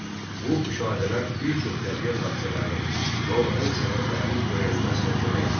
Bu müşahidələr bir çox təbiət hadisələrinin və onların səbəblərinin öyrənilməsinə kömək edirdi.